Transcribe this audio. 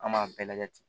An b'a bɛɛ lajɛ ten